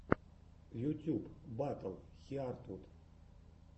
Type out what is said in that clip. ютьюб батл хиартвуд